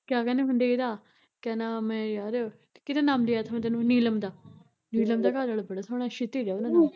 ਕਿਆ ਕਹਿੰਦੇ ਹੁੰਦੇ ਇਹਦਾ, ਕਿਆ ਕਹਿੰਦੇ ਹੁੰਦੇ ਯਾਰ, ਕਿਹਦਾ ਨਾਮ ਲਿਆ ਤਾ ਮੈਂ ਤੇਨੂੰ ਨੀਲਮ ਦਾ ਨੀਲਮ ਦਾ ਘਰਵਾਲਾ ਬੜਾ ਸੋਹਣਾ ਸ਼ਿਤਜ ਐ ਉਹਦਾ ਨਾਮ